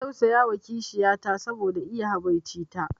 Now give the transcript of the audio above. Ina tausayawa kishiyar ta saboda iya habaici ta